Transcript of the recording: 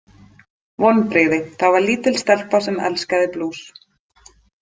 Vonbrigði Það var lítil stelpa sem elskaði blús.